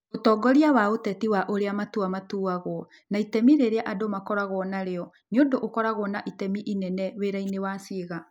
Ũtongoria wa ũteti wa ũrĩa matua matuagwo, na itemi rĩrĩa andũ makoragwo narĩo, nĩ ũndũ ũkoragwo na itemi inene wĩra-inĩ wa ciĩga.